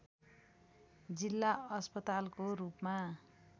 जिल्ला अस्पतालको रूपमा